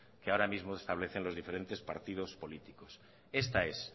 que ahora mismo establecen los diferentes partidos políticos esta es